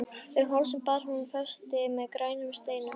Um hálsinn bar hún festi með grænum steinum.